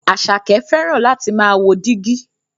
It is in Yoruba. Àṣàkẹ́ fẹ́ràn láti máà wo dígí.